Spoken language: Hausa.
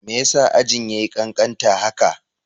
Me yasa ajin yayi kankanta haka?